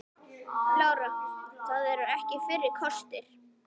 Lára: Það er ekki fyrsti kostur?